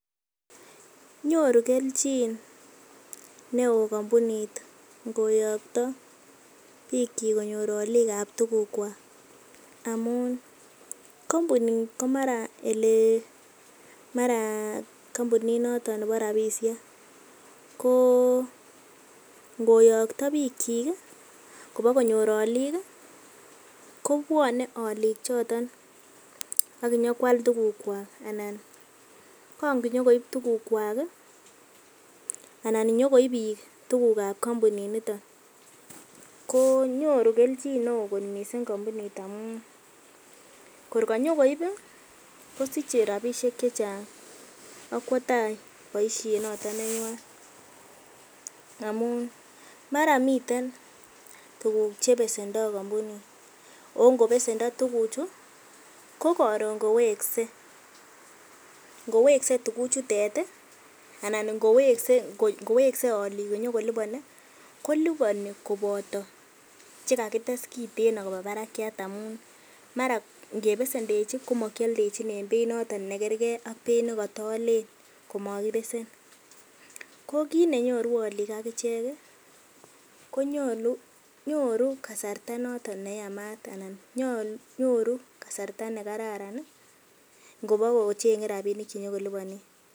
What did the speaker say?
Nyoru kelchin neo kompunit ngoyokto biikyik konyor olik ab tugukwak amun kompunit ko mara ele mara kompunit noto nebo rabbishek ko ngoyokto biikyik kobakonyor olik kobwone olik choton ak konyokoal tugukwak anan kongonyo koib tugukwak anan inyokoib biik tuguk ab kompuninito ko nyoru kelchin neo kot mising kompunit amun kor konyokoib kosiche rabinik che chang ak kwo tai boisiet noto nenywan amun mara miten tuguk chebesendoi kompunit ago ngobesendo tuguchu ko koron koweksei, ingoweksei tuguchutet anan ingweksei olik konyo koliboni koliboni koboto che kagites kiten koba barakyat amun mara ngebesendechin komokioldechin en beit noton nemakerge ak ne kotoalen komakibesen. Ko kit nenyoru olik ak ichek konyoru kasarta noton neyamat anan nyoru kasarta ne kararan ngobo kocheng'e rabinik che kilopenen.